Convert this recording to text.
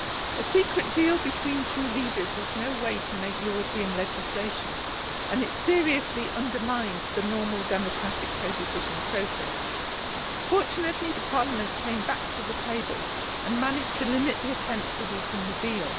A secret deal between two leaders is no way to make European legislation, and it has seriously undermined the normal democratic codecision process. Fortunately Parliament came back to the table and managed to limit the attempt to weaken the deal.